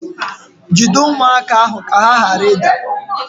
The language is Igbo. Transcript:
Jide ụmụaka ahụ ka ha ghara ịda